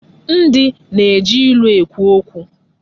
Ndị na-eji ilu ekwu okwu.